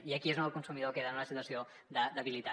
i aquí és on el consumidor queda en una situació de debilitat